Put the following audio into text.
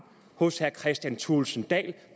hos herre kristian thulesen dahl